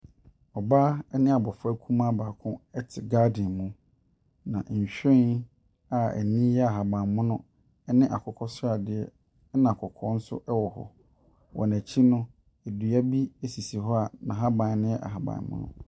Ɔbaa ne abɔfra kumaa baako te garden mu, na nhwiren a ani yɛ ahaban mono ne akokɔ sradeɛ na kɔkɔɔ nso wɔ hɔ. Wɔn akyi no, dua bi sisi hɔ a n'ahaban no yɛ ahaban mono.